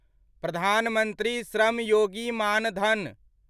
Pradhan Mantri Shram Yogi Maan Dhan